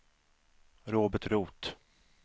Robert Roth